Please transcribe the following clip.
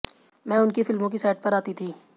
मैं उनकी फिल्मों की सेट पर आती थी